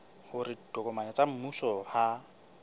hore ditokomane tsa mmuso ha